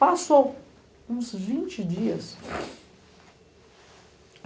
Passou uns vinte dias.